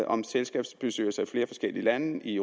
om selskabsbestyrelser i flere forskellige lande i